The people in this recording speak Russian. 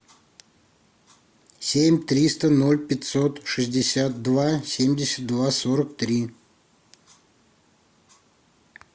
семь триста ноль пятьсот шестьдесят два семьдесят два сорок три